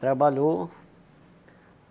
Trabalhou.